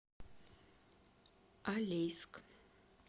алейск